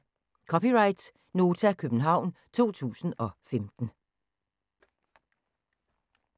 (c) Nota, København 2015